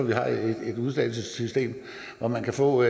vi har et et uddannelsessystem hvor man kan få